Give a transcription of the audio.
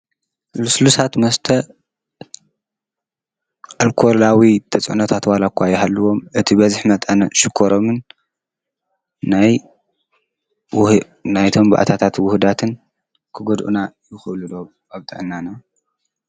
ሉስሉሳት መስተ ኣልኮላዊ ተፅዕኖታት ዋላ እኳ ይሃልዎም ፣ በቲ በዝሒ መጠኖምን ሽኮሮምን ናይ እቶም ባእታታት ውህደትን ክጎድኡና ይክእሉ ዶ? ኣብ ጥዕናና?